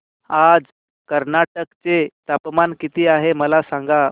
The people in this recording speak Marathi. आज कर्नाटक चे तापमान किती आहे मला सांगा